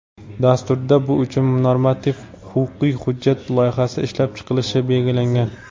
Dasturda bu uchun normativ-huquqiy hujjat loyihasi ishlab chiqilishi belgilangan.